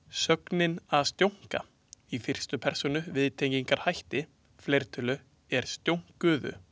Sögnin „að stjónka“ í fyrstu persónu viðtengingarhætti, fleirtölu er „stjónkuðum“.